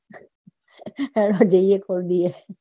કરીએ